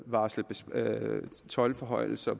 varslet toldforhøjelser